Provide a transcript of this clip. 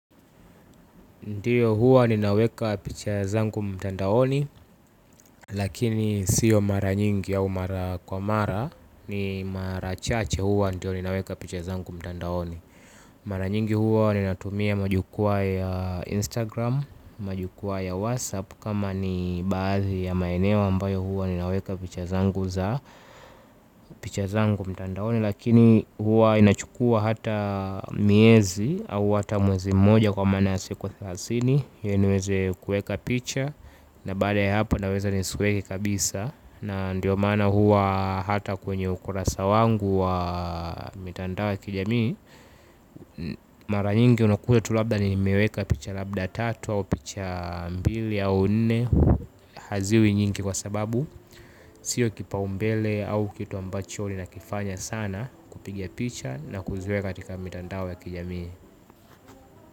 Ndiyo huwa ninaweka picha zangu mtandaoni, lakini siyo mara nyingi au mara kwa mara, ni mara chache huwa ndio ninaweka picha zangu mtandaoni. Mara nyingi huwa ninatumia majukwaa ya Instagram, majukwa ya WhatsApp, kama ni baadhi ya maeneo ambayo huwa ninaweka picha zangu za picha zangu mtandaoni, lakini huwa inachukua hata miezi au hata mwezi mmoja kwa maana ya siko thasini iliniweze kueka picha. Na baada ya haponaweza ni sueke kabisa. Na ndiyo mana huwa hata kwenye ukurasa wangu wa mitandao ya kijamii. Mara nyingi unakuta tulabda ni meweka picha labda tatu au picha mbili au nne. Haziwi nyingi kwa sababu sio kipaumbele au kitu ambacho nina kifanya sana kupigia picha na kuziweka katika mitandao ya kijamii.